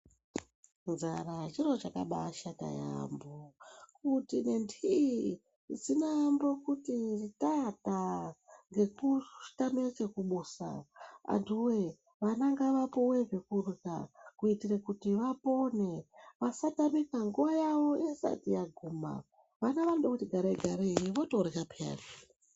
Nzara chiro chakaba shata yambo kuti ngendii dzinoambo kuti tatata ngekutama chekubusa anhuwe vantu ngavapiwe chekurya kuitira kuti vapone vasatamika nguva yavo isati yaguma vana vanoda kuti gare gare vorya peyani.